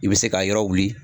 I bɛ se ka yɔrɔ wili